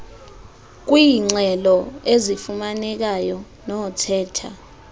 kwiingxelo ezifumanekayo nothetha